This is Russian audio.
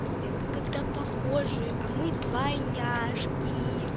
это когда похожие а мы двойняшки